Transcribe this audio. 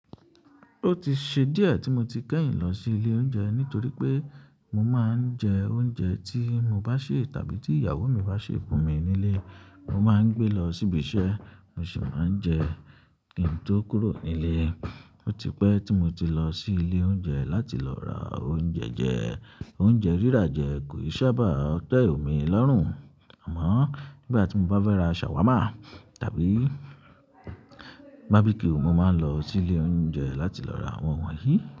Ó ti ṣe díẹ̀ tí mo ti kẹ́yìn lọ sí ilé oúnjẹ nítorí pé mo máa ń jẹ oúnjẹ tí mo bá sè tàbí tí ìyàwó mi bá sè fún mi nílé. Mo máa ń gbé lọ sí ibi iṣẹ́, mo sì máa ń jẹ kín tó kúrò nílé. Ó ti pẹ́ tí mo ti lọ sí ilé oúnjẹ láti lọ ra oúnjẹ jẹ. Oúnjẹ rírà jẹ kò ṣabá te emi lọ́rùn. Àmọ́ nígbà tí mo bá fẹ́ ra ṣàwámà tàbí barbecue, mo máa ń lọ sí ilé oúnjẹ láti lọ ra àwọn wọ̀nyí.